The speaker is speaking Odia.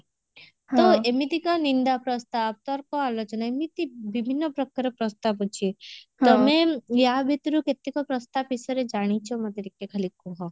ତ ଏମିତିକା ନିନ୍ଦା ପ୍ରସ୍ତାବ ତର୍କ ଆଲୋଚନା ବିଭିନ୍ନ ପ୍ରକାର ପ୍ରସ୍ତାବ ଅଛି ତମେ ଆ ଭିତରୁ କେତେକ ପ୍ରସ୍ତାବ ବିଷୟରେ ଜାଣିଛ ମୋତେ ଟିକେ ଖାଲି କୁହ